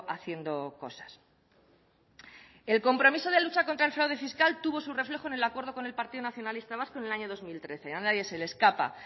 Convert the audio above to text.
haciendo cosas el compromiso de lucha contra el fraude fiscal tuvo su reflejo en el acuerdo con el partido nacionalista vasco en el año dos mil trece a nadie se le escapa